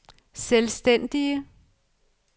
selvstændige